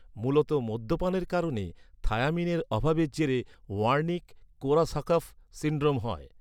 মূলত মদ্যপানের কারণে থায়ামিনের অভাবের জেরে ওয়ার্নিক কোরাসাকফ সিন্ড্রোম হয়।